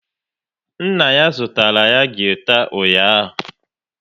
Nna ya zụtara ya gita ụnyaahụ